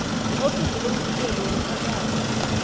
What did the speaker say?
iofisi lomvikeli womphakathi